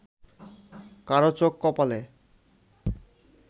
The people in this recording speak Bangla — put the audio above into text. কারও চোখ কপালে